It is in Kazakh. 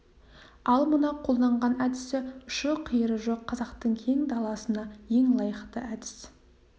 ал мына қолданған әдісі ұшы-қиыры жоқ қазақтың кең даласына ең лайықты әдіс